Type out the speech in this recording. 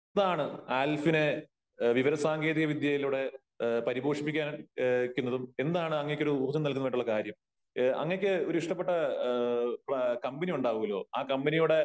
എന്താണ് ആൽഫിനെ വിവര സാങ്കേതിക വിദ്യയിലൂടെ പരിപോഷിപ്പിക്കുന്നതും എന്താണ് അങ്ങേക്കൊരു ഊർജ്ജം നല്കുന്നതായിട്ടുള്ള കാര്യം ? അങ്ങേക്ക് ഒരു ഇഷ്ടപ്പെട്ട കമ്പനി ഉണ്ടാകുമല്ലോ ആ കമ്പനിയുടെ